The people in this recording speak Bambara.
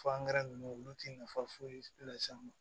ninnu olu ti nafa foyi las'an ma